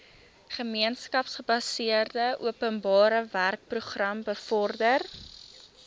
gemeenskapsgebaseerde openbarewerkeprogram bevorder